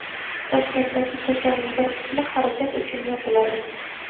Toshkentdagi ko‘chaning bir qismi harakat uchun yopiladi.